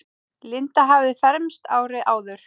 Linda hafði fermst árið áður.